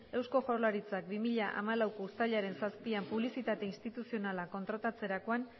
eusko jaurlaritzak bi mila hamalauko uztailaren zazpian publizitate instituzionala kontratatzerakoan